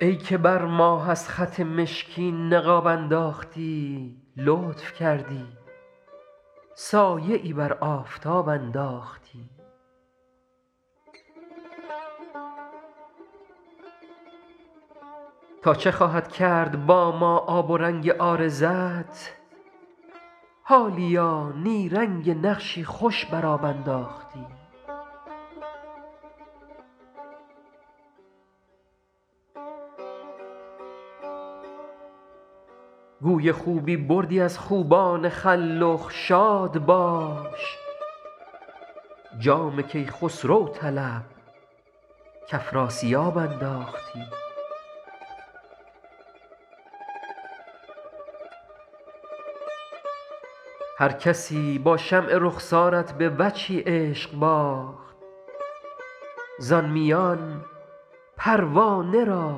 ای که بر ماه از خط مشکین نقاب انداختی لطف کردی سایه ای بر آفتاب انداختی تا چه خواهد کرد با ما آب و رنگ عارضت حالیا نیرنگ نقشی خوش بر آب انداختی گوی خوبی بردی از خوبان خلخ شاد باش جام کیخسرو طلب کافراسیاب انداختی هرکسی با شمع رخسارت به وجهی عشق باخت زان میان پروانه را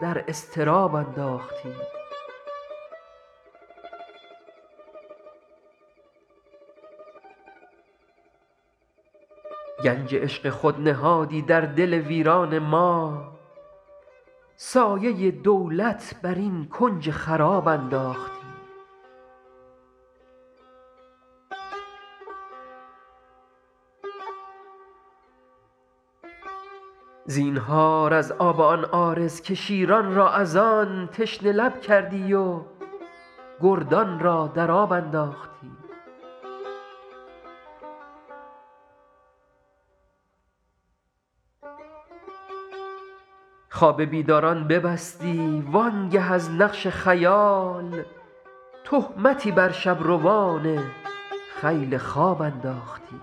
در اضطراب انداختی گنج عشق خود نهادی در دل ویران ما سایه دولت بر این کنج خراب انداختی زینهار از آب آن عارض که شیران را از آن تشنه لب کردی و گردان را در آب انداختی خواب بیداران ببستی وآن گه از نقش خیال تهمتی بر شب روان خیل خواب انداختی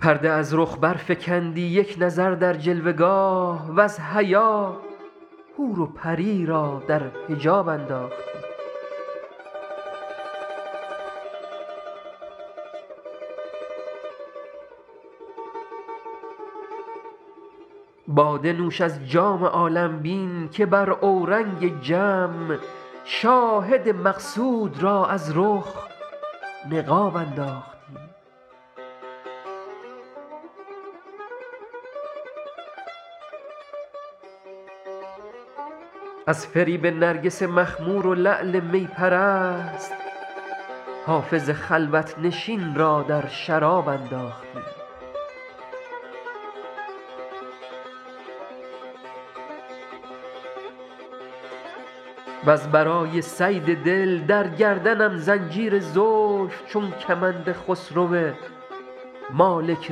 پرده از رخ برفکندی یک نظر در جلوه گاه وز حیا حور و پری را در حجاب انداختی باده نوش از جام عالم بین که بر اورنگ جم شاهد مقصود را از رخ نقاب انداختی از فریب نرگس مخمور و لعل می پرست حافظ خلوت نشین را در شراب انداختی وز برای صید دل در گردنم زنجیر زلف چون کمند خسرو مالک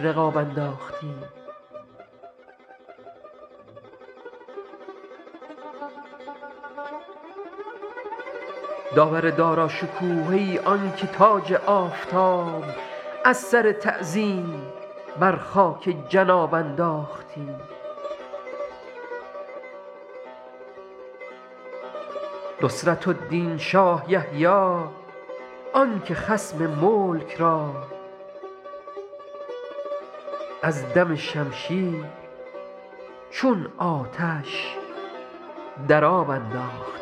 رقاب انداختی داور داراشکوه ای آن که تاج آفتاب از سر تعظیم بر خاک جناب انداختی نصرة الدین شاه یحیی آن که خصم ملک را از دم شمشیر چون آتش در آب انداختی